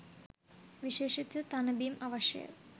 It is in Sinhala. විශේෂිත තණ බිම් අවශ්‍යය